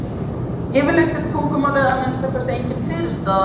Yfirleitt er tungumálið að minnsta kosti engin fyrirstaða.